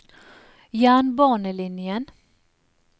jernbanelinjen